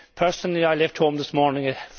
Personally I left home this morning at